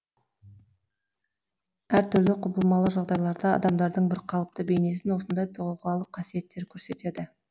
әр түрлі құбылмалы жағдайларда адамдардың бір қалыпты бейнесін осындай тұлғалық қасиеттері көрсетеді